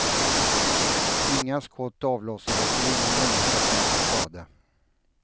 Inga skott avlossades och ingen människa kom till skada.